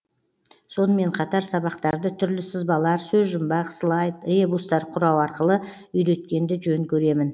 сонымен қатар сабақтарды түрлі сызбалар сөзжұмбақ слайд ребустар құрау арқылы үйреткенді жөн көремін